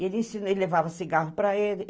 Ele levava cigarro para ele.